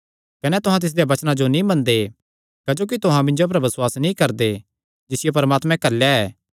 कने तुहां तिसदेयां वचनां जो नीं मनदे क्जोकि तुहां मिन्जो पर बसुआस नीं करदे जिसियो परमात्मे घल्लेया ऐ